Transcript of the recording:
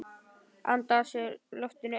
Anda að sér loftinu ein.